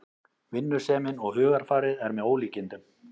Vinnusemin og hugarfarið er með ólíkindum